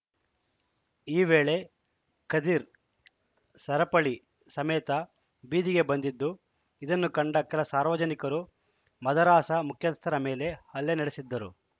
ಈ ವೇಳೆ ಖದಿರ್‌ ಸರಪಳಿ ಸಮೇತ ಬೀದಿಗೆ ಬಂದಿದ್ದು ಇದನ್ನು ಕಂಡ ಕೆಲ ಸಾರ್ವಜನಿಕರು ಮದರಸಾ ಮುಖ್ಯಸ್ಥರ ಮೇಲೆ ಹಲ್ಲೆ ನಡೆಸಿದ್ದರು